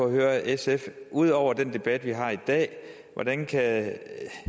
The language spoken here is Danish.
høre sf ud over den debat vi har i dag hvordan kan